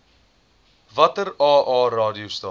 watter aa radiostasies